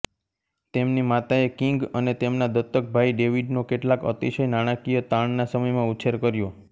તેમની માતાએ કિંગ અને તેમના દત્તક ભાઈ ડેવિડનો કેટલાક અતિશય નાણાકીય તાણના સમયમાં ઉછેર કર્યો